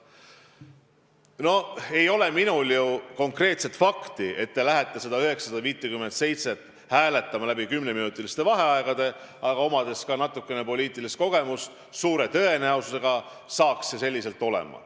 No ega mul ei ole teada konkreetset fakti, et te oleks neid 957 ettepanekut hakanud hääletama kümneminutilisi vaheaegu võttes, aga omades natukene poliitilist kogemust, võisin suure tõenäosusega arvata, et nii see saanuks olema.